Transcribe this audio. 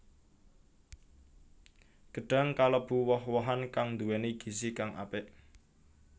Gedhang kalêbu woh wohan kang nduwèni gizi kang apik